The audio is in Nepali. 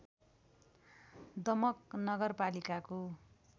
दमक नगरपालिकाको